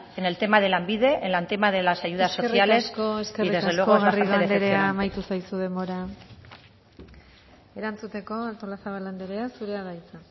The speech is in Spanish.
en el tema de lanbide en el tema de las ayudas sociales y desde luego decepcionante eskerrik asko eskerrik asko garrido andrea amaitu zaizu denbora erantzuteko artolazabal andrea zurea da hitza